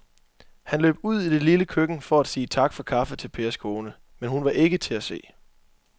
Han løb ud i det lille køkken for at sige tak for kaffe til Pers kone, men hun var ikke til at se.